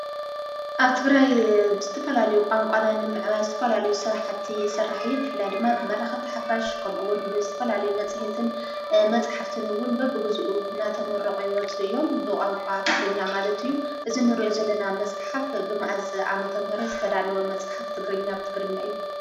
ኣብ ትግራይ ብዝተፈላልዩ ቛንቋና ንምዕባይ ዝትፈላልዩ ስራሕቲ ይስራሕ እዩ። ብፍላይ ድማ ብመራኽፍቲ ሓፋሽ ከምኡውን ብዝትፈላልዩ መጺህትን መጽሕፍትንውን በብጉዜኡ ናተመረቑ ይወፁ እዮም ብቛንቋ ትግርኛ ማለት እዩ እዝ ንርኦ ዘለና መጽሓፍ ብመእዝ ኣመተምህረ ዘተዳልወ መጽሓፍ ትግርኛ ኣብ ትግርኛ ዩ?